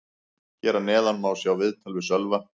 Hér að neðan má sjá viðtal við Sölva.